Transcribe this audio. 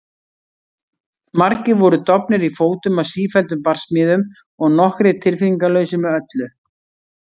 Margir voru dofnir í fótum af sífelldum barsmíðum og nokkrir tilfinningalausir með öllu.